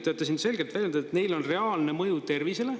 Te olete siin selgelt väljendanud, et neil on reaalne mõju tervisele.